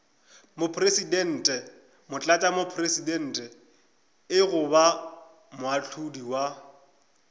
mopresidente motlatšamopresidente goba moahlodi wa